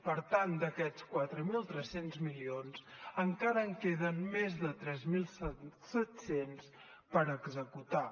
per tant d’aquests quatre mil tres cents milions encara en queden més de tres mil set cents per executar